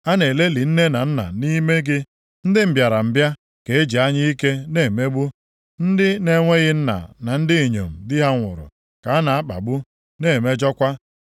A na-elelị nne na nna nʼime gị. Ndị mbịarambịa ka e ji anya ike na-emegbu. Ndị na-enweghị nna na ndị inyom di ha nwụrụ ka a na-akpagbu, na-emejọkwa.